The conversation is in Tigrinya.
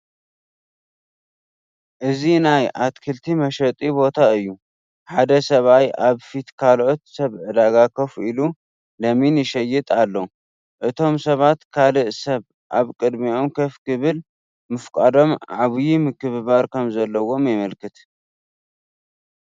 እዚ ናይ ኣትክልቲ መሸጢ ቦታ እዩ፡፡ ሓደ ሰብኣይ ኣብ ፊት ካልኦት ሰብ ዕዳጋ ኮፍ ኢሉ ለሚን ይሸይጥ ኣሎ፡፡ እቶም ሰባት ካልእ ሰብ ኣብ ቅድሚኦም ኮፍ ክብል ምፍቃዶም ዓብዪ ምክብባር ከምዘለዎም የመልክት፡፡